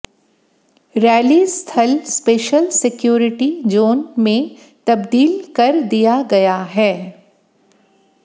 rally स्थल special security zone में तब्दील कर दिया गया है